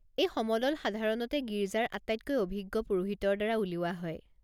এই সমদল সাধাৰণতে গীৰ্জাৰ আটাইতকৈ অভিজ্ঞ পুৰোহিতৰ দ্বাৰা উলিওৱা হয়।